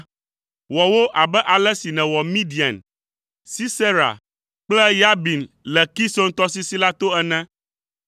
Wɔ wo abe ale si nèwɔ Midian, Sisera kple Yabin le Kison tɔsisi la to ene,